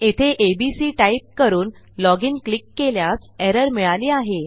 येथे ABC type करून login click केल्यास एरर मिळाली आहे